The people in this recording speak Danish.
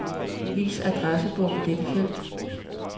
Vis adressebog i dette felt.